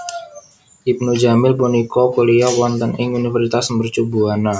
Ibnu jamil punika kuliyah wonten ing Universitas Mercu Buana